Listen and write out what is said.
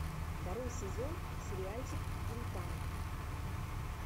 второй сезон сериальчик гинтама